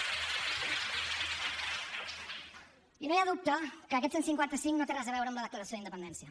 i no hi ha dubte que aquest cent i cinquanta cinc no té res a veure amb la declaració d’independència